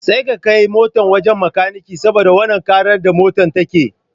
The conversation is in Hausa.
Sai ka kai motar wajan makanike saboda wannan ƙarar da motar take